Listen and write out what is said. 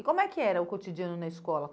E como é que era o cotidiano na escola?